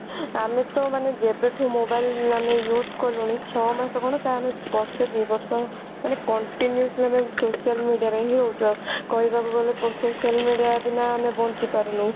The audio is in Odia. ଆମେ ତ ମାନେ ଯେବେ ଠୁ mobile ଆମେ use କଲୁଣି ଛଅ ମାସ ତ କଣ ଆମେ ବର୍ଷେ ଦି ବର୍ଷ ମାନେ continuously ଆମେ social media ରେ ହିଁ ରହୁଛେ କହିବାକୁ ଗଲେ social media ବିନା ଆମେ ବଞ୍ଚିପାରୁନୁ।